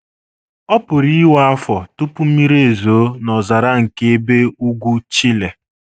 Ọ PỤRỤ iwe afọ tupu mmiri ezoo n’ọzara nke ebe ugwu Chile.